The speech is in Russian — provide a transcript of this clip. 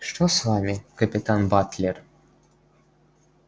что с вами капитан батлер